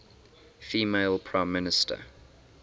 female prime minister